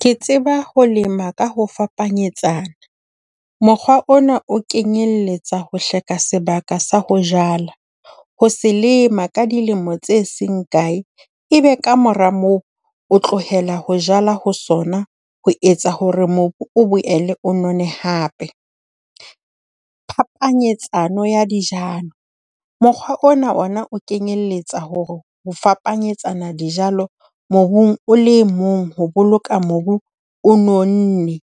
Ke tseba ho lema ka ho fapanyetsana. Mokgwa ona o kenyelletsa sebaka sa ho jala, ho se lema ka dilemo tse seng kae, ebe kamora moo o tlohela ho jala ho sona ho etsa hore mobu o boele o none hape. Phapanyetsano ya dijalo, mokgwa ona ona o kenyelletsa hore ho fapanyetsana dijalo mobung o le mong ho boloka mobu o nonne.